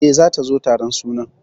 E, zata zo taron sunan.